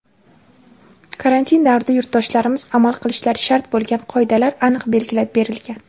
karantin davrida yurtdoshlarimiz amal qilishlari shart bo‘lgan qoidalar aniq belgilab berilgan.